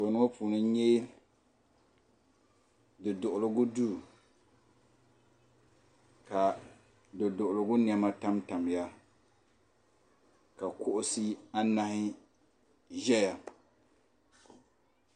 Anfooni ŋɔ puuni n nya duduɣuligu duu ka duduɣuligu niɛma tam tamya ka kuɣusi anahi ʒɛya.